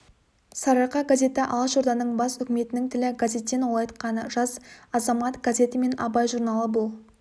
сарыарқа газеті алашорданың бас үкіметінің тілі газеттен ол айтқаны жас азамат газеті мен абай журналы бұл